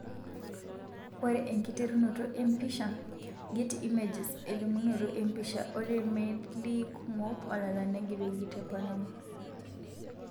Ore enkiterunoto empisha, Getty images elimunoto empisha ,ore melii kumok ololan neigeroki te Panama.